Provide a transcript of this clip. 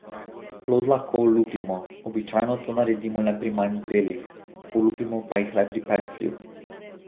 Plod lahko olupimo, običajno to naredimo le pri manj zrelih, olupimo pa jih le pri peclju.